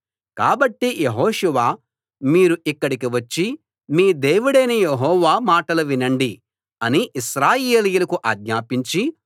కాబట్టి యెహోషువ మీరు ఇక్కడికి వచ్చి మీ దేవుడైన యెహోవా మాటలు వినండి అని ఇశ్రాయేలీయులకు ఆజ్ఞాపించి